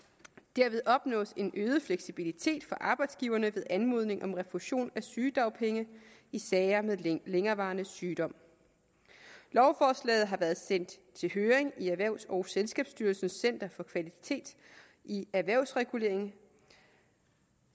derved opnås en øget fleksibilitet for arbejdsgiverne ved anmodning om refusion af sygedagpenge i sager med længerevarende sygdom lovforslaget har været sendt i høring i erhvervs og selskabsstyrelsens center for kvalitet i erhvervsregulering